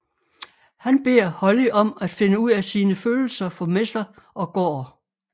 Han beder Holly om at finde ud af sine følelser for Messer og går